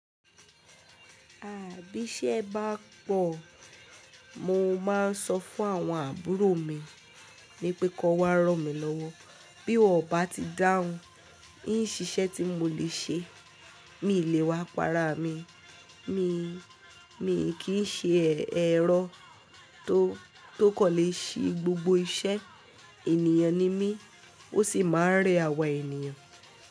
À bí ṣé ẹ bá pọ̀, mo máa ń sọ fún àwọn àbúrò mi wípé kó wá rọ̀ mí lọ́wọ́. Bí wọ́n bá ti dáhùn, ní ń ṣiṣẹ́ tí mo lè ṣe, mi ò lè wa para mi. Mi, mi kì í ṣe ẹ̀rọ tó, tó kò lè ṣe gbogbo iṣẹ́. Ènìyàn ni mí, ó sì máa ń rẹ àwà ènìyàn.